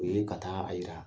U ye ka taa a yira